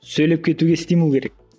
сөйлеп кетуге стимул керек